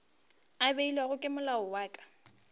a beilwego ke molao wa